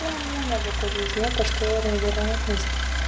всё нормально в этой жизни это же теория вероятности